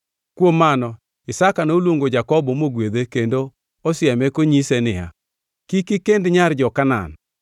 Kuom mano Isaka noluongo Jakobo mogwedhe kendo osieme konyise niya, “Kik ikend nyar jo-Kanaan.